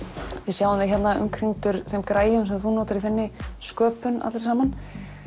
sjáum þig hérna umkringdur þeim græjum sem þú notar í þinni sköpun allri saman